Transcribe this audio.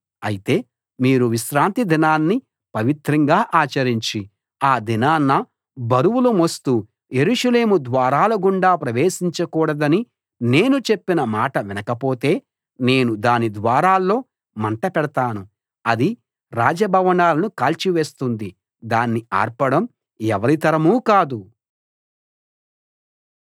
అయితే మీరు విశ్రాంతి దినాన్ని పవిత్రంగా ఆచరించి ఆ దినాన బరువులు మోస్తూ యెరూషలేము ద్వారాల గుండా ప్రవేశించకూడదని నేను చెప్పిన మాట వినకపోతే నేను దాని ద్వారాల్లో మంట పెడతాను అది రాజ భవనాలను కాల్చివేస్తుంది దాన్ని ఆర్పడం ఎవరి తరమూ కాదు